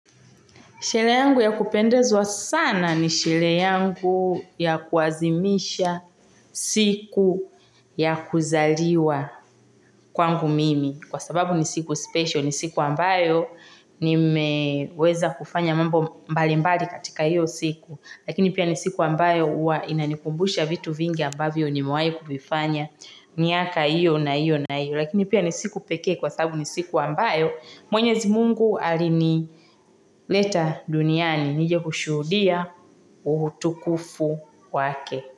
Sherehe yangu ya kupendezwa sana ni sherehe yangu ya kuazimisha siku ya kuzaliwa kwangu mimi. Kwa sababu ni siku special, ni siku ambayo nimeweza kufanya mambo mbalimbali katika iyo siku. Lakini pia ni siku ambayo huwa inanikumbusha vitu vingi ambavyo nimewahi kuvifanya miaka hiyo na hiyo na hiyo. Lakini pia ni siku pekee kwa sababu ni siku ambayo. Mwenyezi mungu alinileta duniani nije kushuhudia utukufu wake.